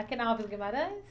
Aqui na Alves Guimarães?